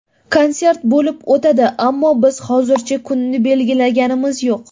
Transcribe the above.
Konsert bo‘lib o‘tadi, ammo biz hozircha kunini belgilaganimiz yo‘q.